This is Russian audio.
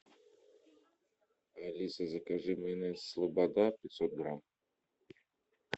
алиса закажи майонез слобода пятьсот грамм